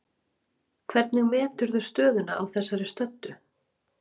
Hvernig meturðu stöðuna á þessari stöddu?